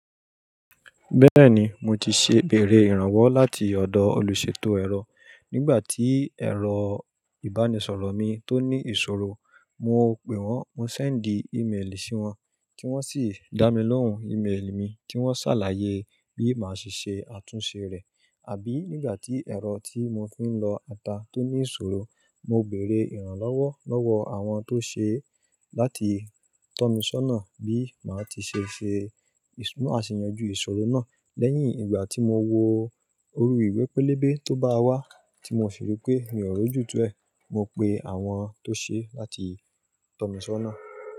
Bẹ́ẹ̀ni mo ti ṣe ìbẹ̀rẹ̀ ìrànwọ́ láti ọ̀dọ̀ olùṣètò ẹ̀rọ nígbà tí ẹ̀rọ ìbánisọ̀rọ̀ mi tó ní ìṣòro, mo pe wọ́n, mo sẹ́ndì ímeèlì sí wọn kí wọ́n sì dá mi lóhùn ímeèlì mi kí wọ́n ṣàlàyé bí màá ṣe ṣe àtúnṣe rẹ̀. Àbí nígbà tí ẹ̀rọ tí mo fi ń lọ ata tó ní ìṣòro, mo bèrè ìrànlọ́wọ́ lọ́wọ́ àwọn tó ṣe é láti tọ́ mi sọ́nà bí màá ti ṣe ṣe bi ma ṣeyọjú ìṣòro náà. Lẹ́yìn ìgbà tí mo wo oru ìwẹ́pẹ́ lébẹ̀ tó bá wá tí mo fi rí pé mi ò rọjú tú ẹ̀, mo pe àwọn tó ṣe é láti tọ́ mi sọ́nà.